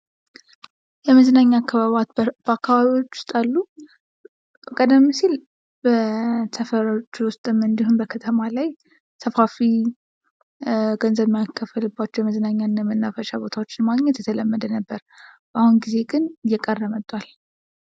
መዝናኛ በአካባቢያችሁ ውስጥ አሉ? ቀደም ሲል በሰፈሮች ውስጥ እንድሁም በከተማ ላይ ሰፋፊ ገንዘብ የማይከፈልባቸው የመዝናኛና የመናፈሻ ቦታዎች ማግኘት የተለመደ ነበር። አሁን ጊዜ ግን እየቀረ መጥቷል።